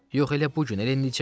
Yox, elə bu gün, elə indicə.